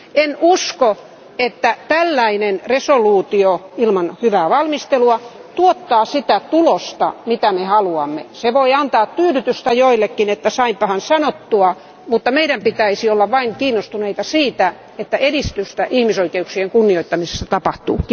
En usko, että tällainen päätöslauselma ilman hyvää valmistelua tuottaa sitä tulosta, mitä me haluamme. Se voi antaa tyydytystä joillekin, että saimmepahan sanottua, mutta meidän pitäisi olla vain kiinnostuneita siitä, että edistystä ihmisoikeuksien kunnioittamisessa tapahtuu.